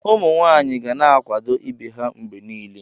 Ụmụ nwanyị ga na-akwado ibe ha mgbe niile.